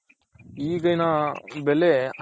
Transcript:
ಈಗಿನ ಬೆಲೆ